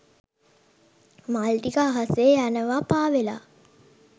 මල් ටික අහසේ යනවා පාවෙලා.